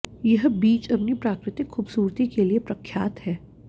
यह बीच अपनी प्राकृतिक खूबसूरती के लिए प्रख्यात है